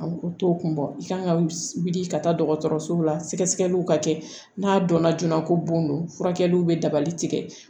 U t'o kun bɔ i kan ka wuli ka taa dɔgɔtɔrɔsow la sɛgɛsɛgɛliw ka kɛ n'a dɔnna joona ko bon don furakɛliw bɛ dabali tigɛ